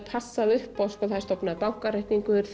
passað uppá það er stofnaður bankareikningur